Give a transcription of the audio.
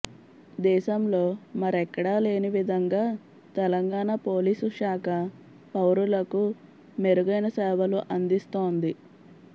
దేశంలో మరెక్కడా లేనివిధంగా తెలంగాణ పోలీసు శాఖ పౌరులకు మెరుగైన సేవలు అందిస్తోంది